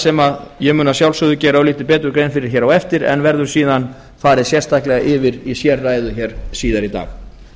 sem ég mun að sjálfsögðu gera örlítið betur grein fyrir á eftir en verður síðan farið alveg sérstaklega yfir í sérræðu síðar í dag